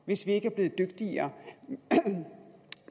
hvis vi ikke er blevet dygtigere og